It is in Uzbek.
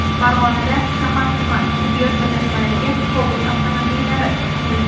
Farg‘onada shahar-tuman tibbiyot birlashmalariga Cobalt avtomobillari topshirildi.